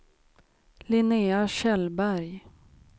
Linnea Kjellberg